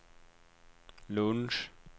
lunch